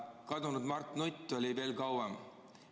Kadunud Mart Nutt oli siin veel kauem.